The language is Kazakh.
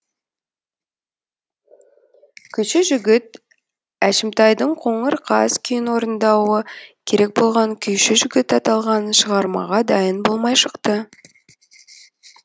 күйші жігіт әшімтайдың қоңыр қаз күйін орындауы керек болған күйші жігіт аталған шығармаға дайын болмай шықты